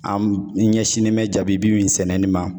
An ɲɛsinnen bɛ jaabi bi min sɛnɛ ni ma.